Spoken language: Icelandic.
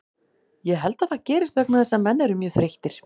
Ég held að það gerist vegna þess að menn eru mjög þreyttir.